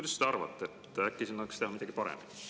Mis te arvate, äkki annaks teha midagi paremini?